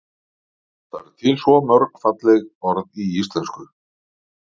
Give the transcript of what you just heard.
það eru til svo mörg falleg orð í íslenksu